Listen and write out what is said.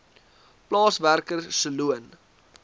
plaaswerker se loon